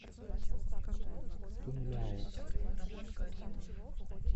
тунляо